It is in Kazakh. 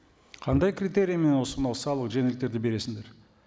қандай критериймен осы мынау салық жеңілдіктерді бересіңдер